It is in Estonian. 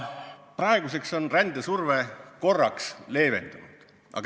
Praeguseks on rändesurve korraks leevenenud.